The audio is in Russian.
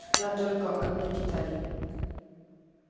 да только одной деталью